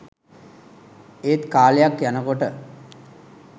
ඒත් කාලයක් යනකොට